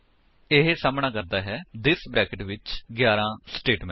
ਇਹ ਸਾਹਮਣਾ ਕਰਦਾ ਹੈ ਥਿਸ ਬਰੈਕੇਟਸ ਵਿੱਚ 11 ਸਟੇਟਮੇਂਟ